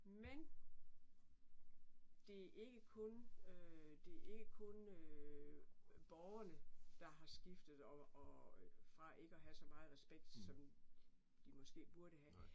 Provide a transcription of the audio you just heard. Men! Det ikke kun øh det ikke kun øh øh borgerne, der har skiftet og og øh fra ikke at have så meget respekt, som de måske burde have